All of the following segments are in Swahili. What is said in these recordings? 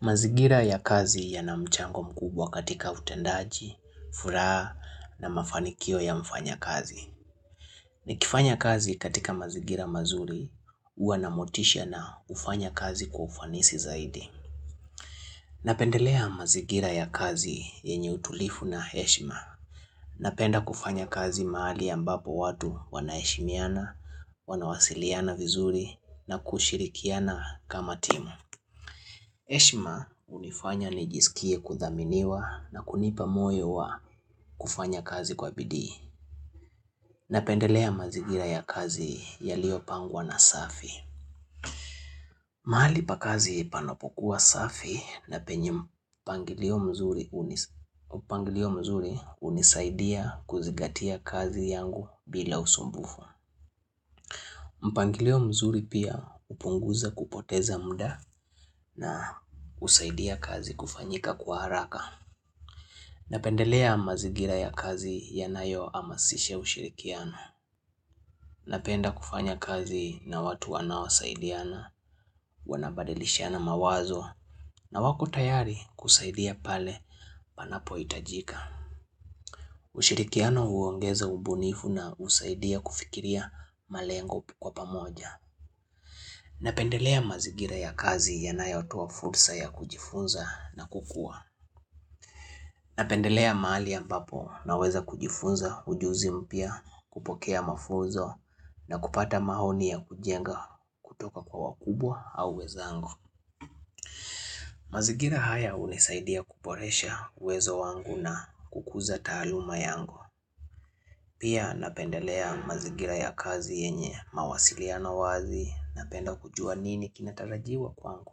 Mazigira ya kazi yana mchango mkubwa katika utendaji, furaha na mafanikio ya mfanyakazi. Nikifanya kazi katika mazigira mazuri, huwa na motisha na hufanya kazi kwa ufanisi zaidi. Napendelea mazigira ya kazi yenye utulifu na heshima. Napenda kufanya kazi mahali ambapo watu wanaheshimiana, wanawasiliana vizuri na kushirikiana kama timu. Eshima hunifanya nijisikie kudhaminiwa na kunipa moyo wa kufanya kazi kwa bidii. Napendelea mazigira ya kazi yaliyopangwa na safi. Mahali pa kazi panapokuwa safi na penye mpangilio mzuri hunisaidia kuzigatia kazi yangu bila usumbufu. Mpangilio mzuri pia upunguza kupoteza muda na usaidia kazi kufanyika kwa haraka. Napendelea mazigira ya kazi yanayoamasisha ushirikiano. Napenda kufanya kazi na watu wanaoasaidiana wanabadilishiana mawazo na wako tayari kusaidia pale panapo itajika. Ushirikiano huongeza ubunifu na usaidia kufikiria malengo kwa pamoja. Napendelea mazigira ya kazi yanayotoa fursa ya kujifunza na kukua. Napendelea maali ambapo naweza kujifunza ujuzi mpya kupokea mafuzo na kupata mahoni ya kujenga kutoka kwa wakubwa au wezangu. Mazigira haya hunisaidia kuporesha uwezo wangu na kukuza taaluma yangu. Pia napendelea mazigira ya kazi yenye mawasiliano wazi napenda kujua nini kinatarajiwa kwangu.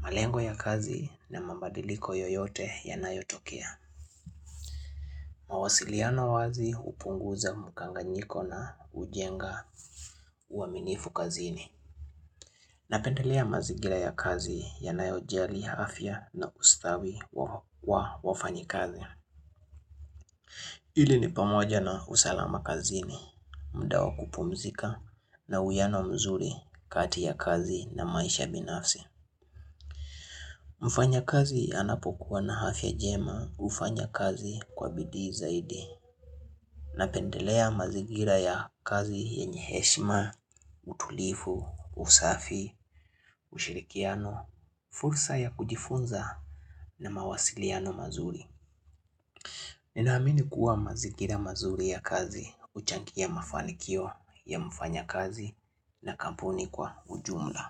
Malengo ya kazi na mabadiliko yoyote yanayotokea. Mawasiliano wazi hupunguza mkanganyiko na ujenga uaminifu kazini Napendelea mazigira ya kazi yanayojali hafya na ustawi wa wafanyikazi ili ni pamoja na usalama kazini, muda wa o kupumzika na uiano mzuri kati ya kazi na maisha binafsi Mufanyakazi anapokuwa na hafya jema ufanya kazi kwa bidii zaidi Napendelea mazigira ya kazi yenye heshma, utulifu, usafi, ushirikiano, fursa ya kujifunza na mawasiliano mazuri Ninaamini kuwa mazigira mazuri ya kazi, uchangia mafanikio ya mfanyakazi na kampuni kwa ujumla.